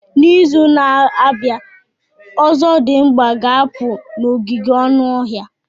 N'izu na-abịa, ozodimgba ga-apụ n'ogige anụ ọhịa.